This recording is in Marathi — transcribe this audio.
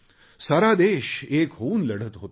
सारा देश एक होऊन लढत होता